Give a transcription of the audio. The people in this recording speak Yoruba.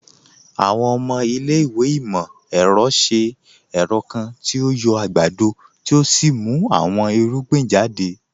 Àwọn ọmọ ilẹ̀-ìwé imọ-ẹrọ ṣẹ̀ ẹrọ̀ kan tí o yọ̀ agbádọ̀ tí o sì mú àwọn irugbìn jàdẹ̀.